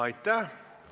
Aitäh!